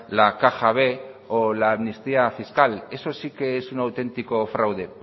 la caja b o la amnistía fiscal eso sí que es un auténtico fraude